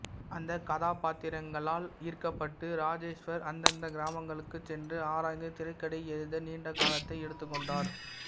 அந்த காதாபாத்திரங்களால் ஈர்க்கப்பட்டு இராஜேஷ்வர் அந்தந்த கிராமங்களுக்குச் சென்று ஆராய்ந்து திரைக்கதை எழுத நீண்ட காலத்தை எடுத்துக்கொண்டார்